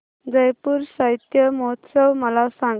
जयपुर साहित्य महोत्सव मला सांग